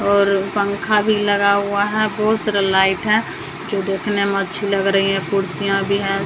और पंखा भी लगा हुआ है बहुत सारा लाइट है जो देखने में अच्छी लग रही है कुर्सियां भी है।